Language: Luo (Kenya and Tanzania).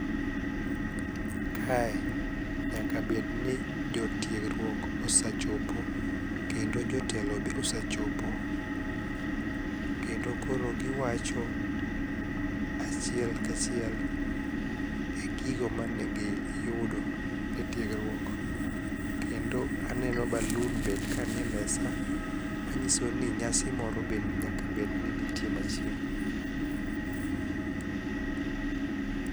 Kae nyaka bedni jotiegruok osachopo kendo jotelo be osachopo, kendo koro giwacho achiel kachiel e gigo manegiyudo e tiegruok kendo aneno balun be kanie mesa manyiso ni nyasi moro be nyaka bed ni nitie machiegni.